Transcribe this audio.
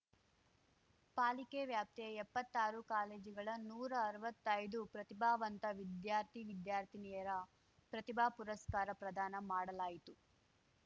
ಪಾಲಿಕೆ ವ್ಯಾಪ್ತಿಯ ಎಪ್ಪತ್ತಾರು ಕಾಲೇಜುಗಳ ನೂರಾ ಅರ್ವತ್ತೈದು ಪ್ರತಿಭಾವಂತ ವಿದ್ಯಾರ್ಥಿವಿದ್ಯಾರ್ಥಿನಿಯರ ಪ್ರತಿಭಾ ಪುರಸ್ಕಾರ ಪ್ರದಾನ ಮಾಡಲಾಯಿತು